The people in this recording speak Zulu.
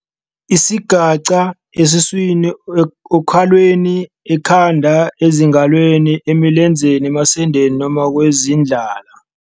Isigaxa esiswini, okhalweni, ekhanda, ezingalweni, emilenzeni, emasendeni noma kwizindlala.